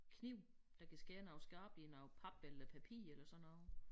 Kniv der kan skære noget skarpt i noget pap eller papir eller sådan noget